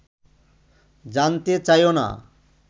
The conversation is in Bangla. জানতে চাইও না